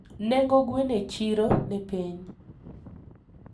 nengo gweno e cchiro ni piny